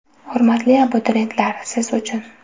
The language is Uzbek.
Hurmatli abituriyentlar, siz uchun !!!